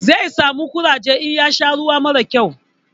Zai samu ƙuraje in ya sha ruwa mara kyau.